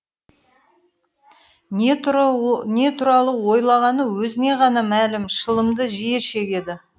не туралы ойлағаны өзіне ғана мәлім шылымды жиі шегеді